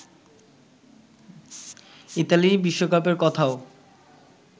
Italy বিশ্বকাপের কথাও